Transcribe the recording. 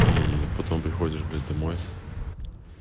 и потом приходишь блять домой